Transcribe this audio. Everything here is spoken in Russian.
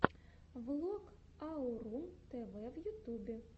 влог аурум тв в ютубе